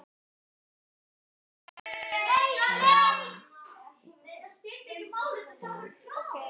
Og nú er hann það.